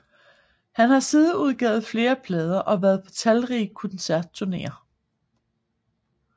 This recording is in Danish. Han har siden udgivet flere plader og været på talrige koncertturneer